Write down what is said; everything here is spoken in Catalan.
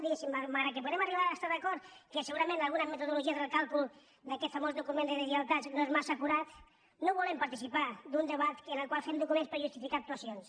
diguéssim malgrat que podem arribar a estar d’acord que segurament alguna metodologia del càlcul d’aquest famós document de deslleialtats no és massa acurada no volem participar d’un debat en el qual fem documents per justificar actuacions